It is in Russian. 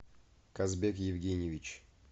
казбек евгеньевич